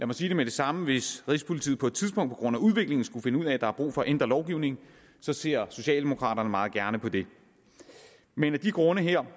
mig sige det med det samme hvis rigspolitiet på et tidspunkt på grund af udviklingen skulle finde ud af at der er brug for at ændre lovgivningen ser socialdemokraterne meget gerne på det men af de grunde her